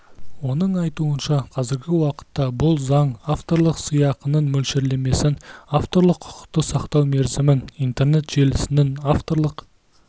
оның айтуынша қазіргі уақытта бұл заң авторлық сыйақының мөлшерлемесін авторлық құқықты сақтау мерзімін интернет желісінің авторлық